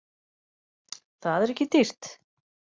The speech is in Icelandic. Það er ekki dýrt